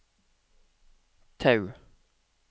Tau